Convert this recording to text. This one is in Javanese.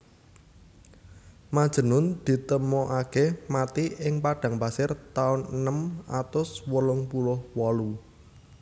Majnun ditemokake mati ing padang pasir taun enem atus wolung puluh wolu